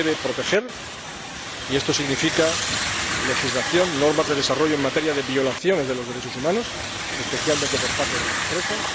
debe proteger, y esto significa legislación, normas de desarrollo en materia de violaciones de los derechos humanos, especialmente por parte de las empresas.